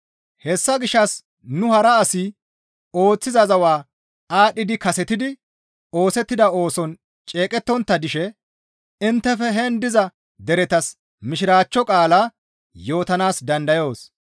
Hessa gishshas nu hara asi ooththiza zawa aadhdhidi kasetidi oosettida ooson ceeqettontta dishe inttefe henin diza deretas Mishiraachcho qaalaa yootanaas dandayoos.